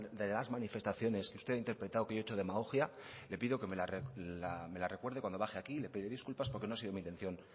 de las manifestaciones que usted ha interpretado que yo he hecho demagogia le pido que me la recuerde cuando baje aquí y le pediré disculpas porque no ha sido mi intención